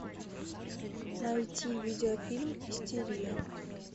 найти видеофильм истерия